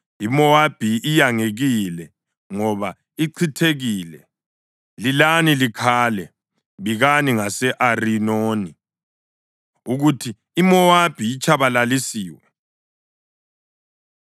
IMowabi iyangekile, ngoba ichithekile. Lilani likhale! Bikani ngase-Arinoni ukuthi iMowabi itshabalalisiwe.